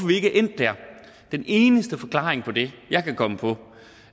vi ikke endt der den eneste forklaring på det jeg kan komme på